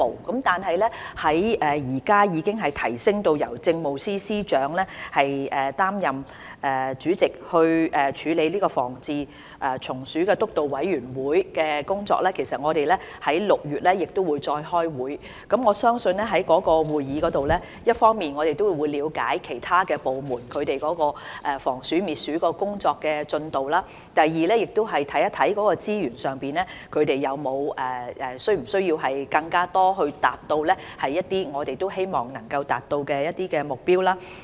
然而，由於現在已提升由政務司司長擔任主席，來處理防治蟲鼠督導委員會的工作，而且會在6月再開會，因此，我相信在會議上，我們可以一方面了解其他部門的防鼠、滅鼠工作進度，而另一方面，亦會看看資源方面是否需要增加，以協助他們達到當局所希望達到的目標。